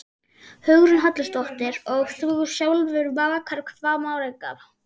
Hugrún Halldórsdóttir: Og þú sjálfur bakar hvað margar?